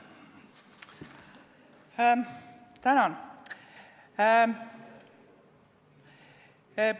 Tänan!